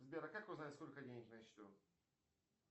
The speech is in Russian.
сбер а как узнать сколько денег на счету